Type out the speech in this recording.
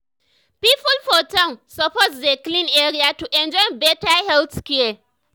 people for town suppose dey clean area to enjoy better health care.